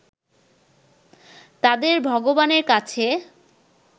তাদের ভগবানের কাছে